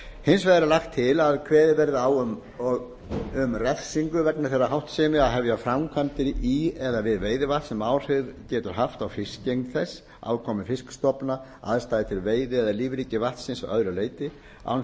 hins vegar er lagt til að kveðið verði á um refsingu vegna þeirrar háttsemi að hefja framkvæmdir í eða við veiðivatn sem áhrif getur haft á fiskigengd þess afkomu fiskstofna aðstæður til veiði eða lífríki vatnsins að öðru leyti án